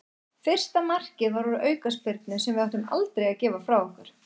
Fyrsta markið var úr aukaspyrnu sem við áttum aldrei að gefa frá okkur.